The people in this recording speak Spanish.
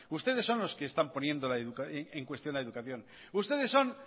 ustedes son los que están poniendo en cuestión la educación ustedes son